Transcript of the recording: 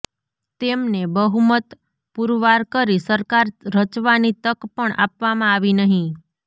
તેમને બહુમત પુરવાર કરી સરકાર રચવાની તક પણ આપવામાં આવી નહીં